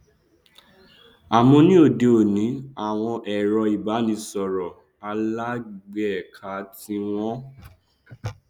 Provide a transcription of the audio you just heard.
àmọ ní òde òní àwọn ẹrọ ìbánisọrọ alágbèéká tí wọn